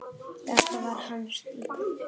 Þetta var hans stíll.